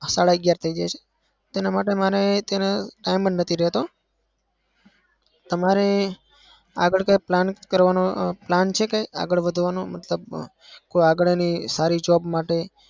સાડા અગિયાર થઇ જાય છે. તેના માટે માંરે તેનો time જ નઈ રેતો. તમારે આગળ કોઈ plan કરવાનો plan છે આગળ વધવાનો? મતલબ આગળ કોઈ સારી job માટે?